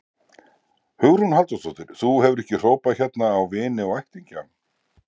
Hugrún Halldórsdóttir: Þú hefur ekki hrópað hérna á vini og ættingja?